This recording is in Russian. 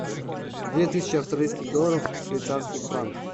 две тысячи австралийских долларов в швейцарских франках